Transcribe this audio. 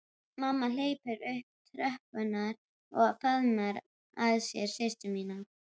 Mamma hleypur upp tröppurnar og faðmar að sér systur sína.